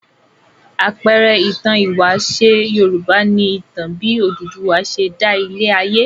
Àpẹẹrẹ ìtàn ìwáṣẹ̀ Yorùbá ni ìtàn bí Odùduwà ṣe dá ilé-ayé.